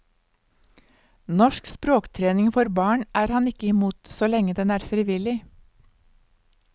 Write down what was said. Norsk språktrening for barn er han ikke imot, så lenge den er frivillig.